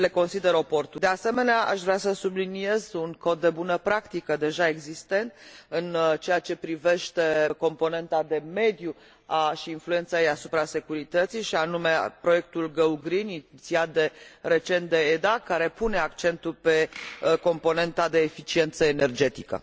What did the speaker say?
De asemenea, aș vrea să subliniez un cod de bună practică deja existent în ceea ce privește componenta de mediu și influența ei asupra securității, și anume proiectul GO GREEN, inițiat recent de EDA, care pune accentul pe componenta de eficiență energetică.